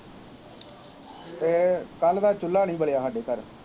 ਅਤੇ ਕੱਲ੍ਹ ਦਾ ਚੁੱਲ੍ਹਾ ਨਹੀਂ ਬਲਿਆ ਸਾਡੇ ਘਰ